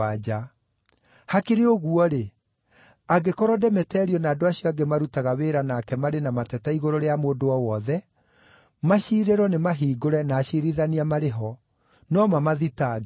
Hakĩrĩ ũguo-rĩ, angĩkorwo Demeterio na andũ acio angĩ marutaga wĩra nake marĩ na mateta igũrũ rĩa mũndũ o wothe, maciirĩro nĩmahingũre na aciirithania marĩ ho. No mamathitange.